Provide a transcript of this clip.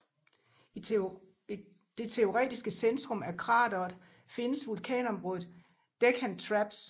I det teoretiske centrum af krateret findes vulkanområdet Deccan Traps